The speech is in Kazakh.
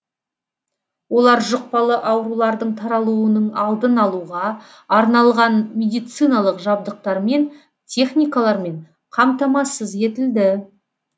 олар жұқпалы аурулардың таралуының алдын алуға арналған медициналық жабдықтармен техникалармен қамтамасыз етілді